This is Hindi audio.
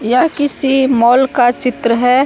यह किसी मॉल का चित्र है।